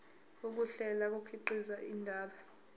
ukuhlela kukhiqiza indaba